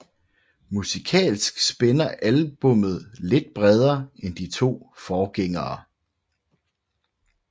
Musikalsk spænder albummet lidt bredere end de to forgængere